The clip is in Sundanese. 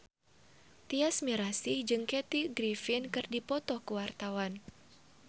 Tyas Mirasih jeung Kathy Griffin keur dipoto ku wartawan